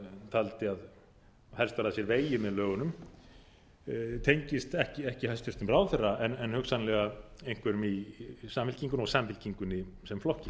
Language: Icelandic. taldi að helst að sér vegið með lögunum tengist ekki hæstvirtur ráðherra en hugsanlega einhverjum í samfylkingunni og samfylkingunni sem flokki